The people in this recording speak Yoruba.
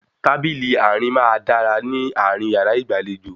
Tábìlì àárín máa dára ní àárín yàrá ìgbàlejò